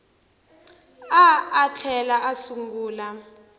a a tlhela a sungula